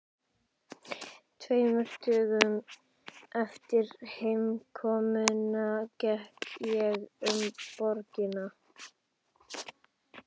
Tveimur dögum eftir heimkomuna gekk ég um borgina.